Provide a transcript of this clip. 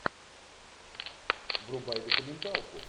врубай документалку